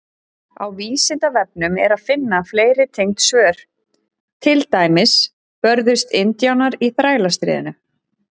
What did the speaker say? Á Vísindavefnum er að finna fleiri tengd svör, til dæmis: Börðust indjánar í Þrælastríðinu?